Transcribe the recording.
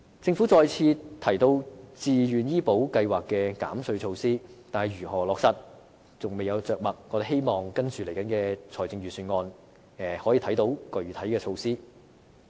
政府再次提到自願醫保計劃的減稅措施，但如何落實則未有着墨。我們希望接下來的財政預算案可以讓我們看到具體的措施。